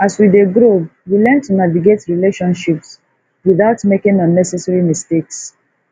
as we dey grow we learn to navigate relationships without making unnecessary mistakes